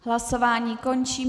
Hlasování končím.